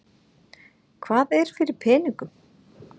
Hvað er fyrir peningum?